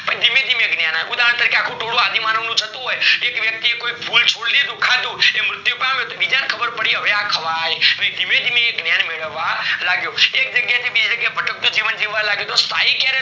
ભય થીમે થીમે જ્ઞાન આવ્યું ઉદાહરણ તરીકે આખું ટોળું આદિમાનવ નું જતું હોઈ એક વ્યક્તિ એ ફૂલ છોડી દીધું ખાધું મૃત્યુ પામ્યું બીજા ને ખબર પડી ક હવે અ ખવાય નાય ધીમે ધીમે એ જ્ઞાન મેળવવા લાગ્યો એક જગ્યેથી બી જગ્યાએ ભટકતું જીવવા લાગ્યું તો સ્થાયી ક્યારે